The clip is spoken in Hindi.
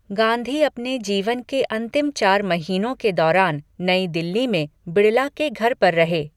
गांधी अपने जीवन के अंतिम चार महीनों के दौरान नई दिल्ली में बिड़ला के घर पर रहे।